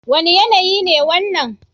Wane yanayi ne wannan?